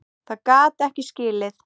Það gat ég ekki skilið.